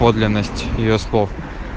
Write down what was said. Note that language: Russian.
подлинность её слов